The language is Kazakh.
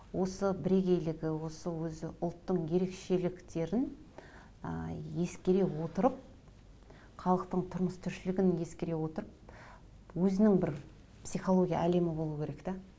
осы бірегейлігі осы өзі ұлттың ерекшеліктерін ы ескере отырып халықтың тұрмыс тіршілігін ескере отырып өзінің бір психология әлемі болу керек те